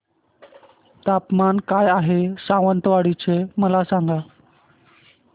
तापमान काय आहे सावंतवाडी चे मला सांगा